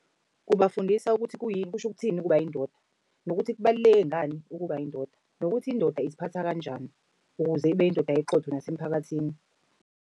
Kubafundisa ukuthi kuyini kusho ukuthini ukuba yindoda. Nokuthi kubaluleke ngani ukuba yindoda, nokuthi indoda iziphatha kanjani ukuze ibe yindoda eqotho nasemphakathini.